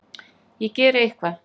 Ég geri eitthvað.